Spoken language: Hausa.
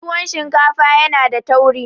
tuwon shinkafa ya da tauri